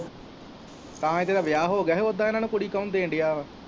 ਤਾਂ ਜਿਹੜਾ ਵਿਆਹ ਹੋਗਿਆ ਓਦਾ ਇੰਨਾਂ ਨੂੰ ਕੁੜੀ ਕੋਣ ਦੇਣ ਦਿਆਂ ਵਾ।